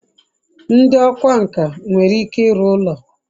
ndi okwá nkà nwere ike iru ulo